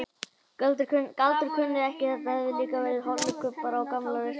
Galdur kunni þetta, það höfðu líka verið holukubbar á gamla leikskólanum hans.